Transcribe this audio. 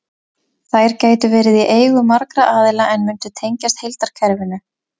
Þær gætu verið í eigu margra aðila en mundu tengjast heildarkerfinu.